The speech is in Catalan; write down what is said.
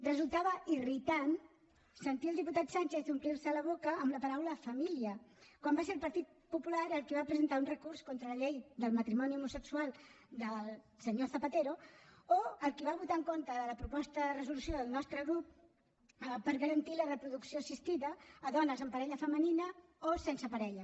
resultava irritant sentir al diputat sánchez omplir se la boca amb la paraula família quan va ser el partit popular el qui va presentar un recurs contra la llei del matrimoni homosexual del senyor zapatero o el qui va votar en contra de la proposta de resolució del nostre grup per garantir la reproducció assistida a dones amb parella femenina o sense parella